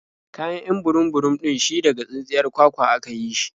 Kayan 'yan burum-burum ɗin shi daga tsintsiyar kwakwa a ka yi shi.